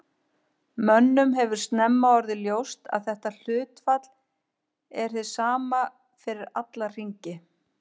Mönnum hefur snemma orðið ljóst að þetta hlutfall er hið sama fyrir alla hringi.